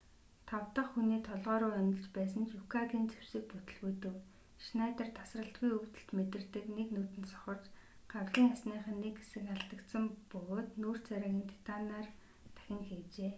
тав дахь хүний толгой руу онилж байсан ч юкагийн зэвсэг бүтэлгүйтэв шнайдер тасралтгүй өвдөлт мэдэрдэг нэг нүд нь сохорч гавлын ясных нь нэг хэсэг алдагдсан бөгөөд нүүр царайг нь титанаар дахин хийжээ